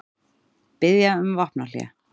Biðja um vopnahlé